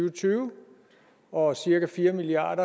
og tyve og cirka fire milliard